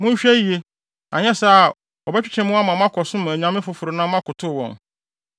Monhwɛ yiye, anyɛ saa a wɔbɛtwetwe mo ama moakɔsom anyame afoforo na moakotow wɔn.